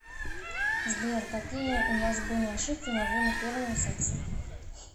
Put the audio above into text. сбер какие у вас были ошибки во время первого секса